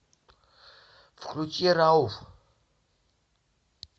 включи рауф